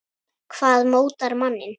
Hvað mótar manninn?